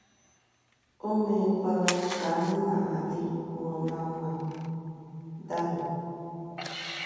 O meekwala ka anyị na ha dịrịkwuo ná mma. ”— Dami.